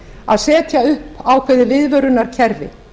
að setja upp ákveðið viðvörunarkerfi